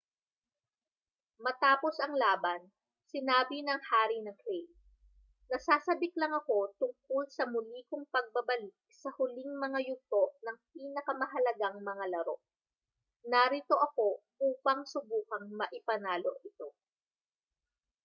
matapos ang laban sinabi ng hari ng clay nasasabik lang ako tungkol sa muli kong pagbabalik sa huling mga yugto ng pinakamahalagang mga laro narito ako upang subukang maipanalo ito